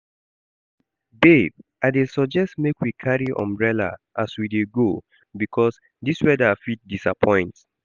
Babe I dey suggest make we carry umbrella as we dey go because this weather fit disappoint